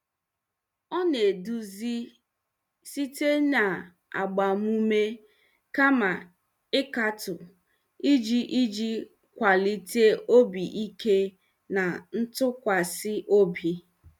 Ọ na-eduzi site na agbamume kama ịkatọ iji iji kwalite obi ike na ntụkwasị obi.